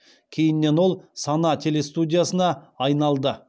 кейіннен ол сана телерадиостудиясына айналды